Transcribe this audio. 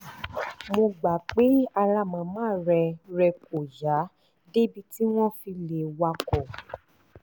mo gbà pé ara màmá rẹ rẹ kò yá débi tí wọ́n fi lè wakọ̀